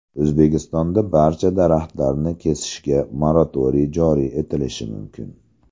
O‘zbekistonda barcha daraxtlarni kesishga moratoriy joriy etilishi mumkin.